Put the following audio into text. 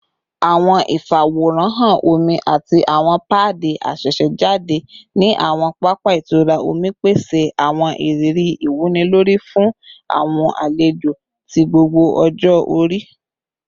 Awọn ifaworanhan omi ati awọn paadi asesejade ni awọn papa itura omi pese awọn iriri iwunilori fun awọn alejo ti gbogbo ọjọ-ori